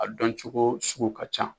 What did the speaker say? A don cogo sugu ka ca.